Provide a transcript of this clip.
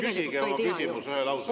Küsige oma küsimus ühe lausega.